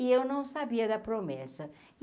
E eu não sabia da promessa.